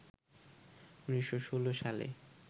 ১৯১৬ সালে